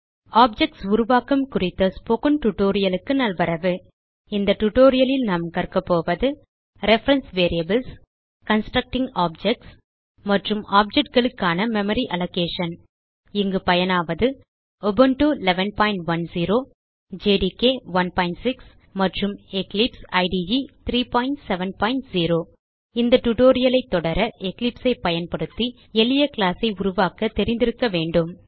objects உருவாக்கம் குறித்த spoken tutorialக்கு நல்வரவு இந்த டியூட்டோரியல் லில் நாம் கற்கபோவது ரெஃபரன்ஸ் வேரியபிள்ஸ் கன்ஸ்ட்ரக்டிங் ஆப்ஜெக்ட்ஸ் மற்றும் objectகளுக்கான மெமரி அலோகேஷன் இங்கு பயனாவது உபுண்டு 1110 ஜேடிகே 16 மற்றும் எக்லிப்ஸ் இடே 370 இந்த டியூட்டோரியல் ஐ தொடர எக்லிப்ஸ் ஐ பயன்படுத்தி எளிய கிளாஸ் ஐ உருவாக்க தெரிய வேண்டும்